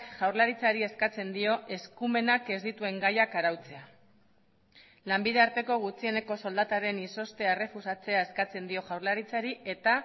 jaurlaritzari eskatzen dio eskumenak ez dituen gaiak arautzea lanbide arteko gutxieneko soldataren izoztea errefusatzea eskatzen dio jaurlaritzari eta